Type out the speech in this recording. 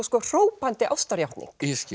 hrópandi ástarjátning